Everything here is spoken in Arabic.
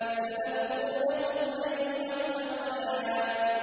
سَنَفْرُغُ لَكُمْ أَيُّهَ الثَّقَلَانِ